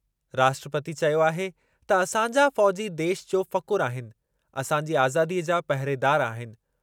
राष्ट्रपती चयो आहे त असांजा फ़ौज़ी देशु जो फ़ख़्रु आहिनि असांजी आज़ादीअ जा पहिरेदारु आहिनि।